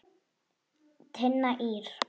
Tinna Ýr.